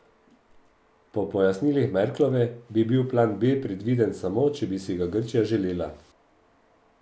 Po pojasnilih Merklove bi bil plan B predviden samo, če bi si ga Grčija želela.